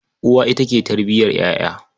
Uwa ita ke tarbiyar ƴaƴa.